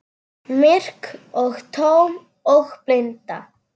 Myrk og tóm og blind.